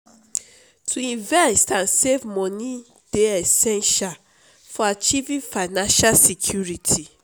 to invest and save money dey essential for achieving financial security.